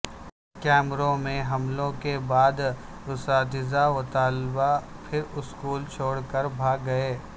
Cameroon میں حملوں کے بعداساتذہ و طلبا پھر اسکول چھوڑ کر بھاگ گئے